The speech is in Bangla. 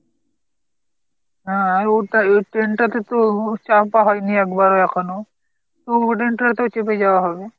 হাঁ আরো এই ট্রেন টা তো চাপা হয়নি একবারও এখনও তো ওই train টা তে চেপে যাওয়া হবে।